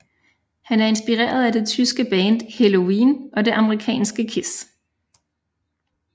Han er inspireret af det tyske band Helloween og det amerikanske KISS